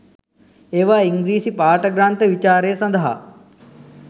ඒවා ඉංග්‍රීසි පාඨ ග්‍රන්ථ විචාරය සඳහා